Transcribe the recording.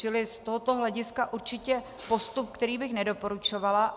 Čili z tohoto hlediska určitě postup, který bych nedoporučovala.